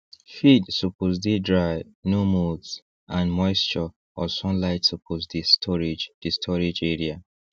feed suppose dey dry no molds and moisture or sunlight suppose the storage the storage area